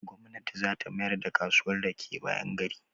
Gwamnati zata mayar da kasuwan rake bayan gari.